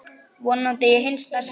Vonandi í hinsta sinn.